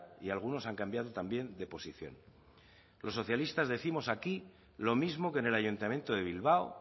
y algunos han cambiado también de posición los socialistas décimos aquí lo mismo que en el ayuntamiento de bilbao